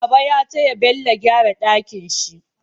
Baba ya taya Bello gyara dakin si